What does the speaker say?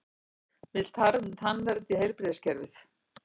Vill tannvernd í heilbrigðiskerfið